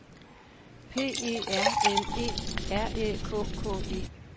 P E R L E R Æ K K E